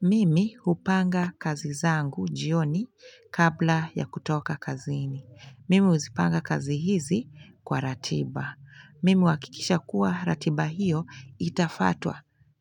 Mimi hupanga kazi zangu jioni kabla ya kutoka kaziini. Mimi uzipanga kazi hizi kwa ratiba. Mimi huhakikisha kuwa ratiba hiyo itafuatwa.